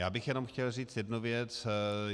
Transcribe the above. Já bych jenom chtěl říct jednu věc.